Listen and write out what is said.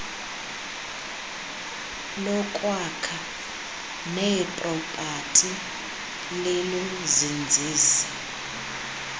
lokwakha neepropati liluzinzise